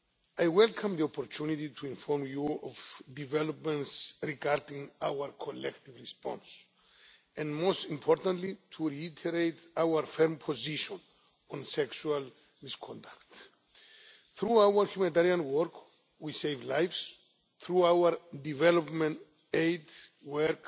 I welcome the opportunity to inform you of developments regarding our collective response and, most importantly, to reiterate our firm position on sexual misconduct. Through our humanitarian work we save lives and through our development aid work